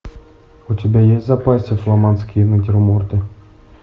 у тебя есть в запасе фламандские натюрморты